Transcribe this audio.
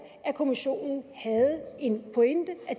at kommissionen havde en pointe at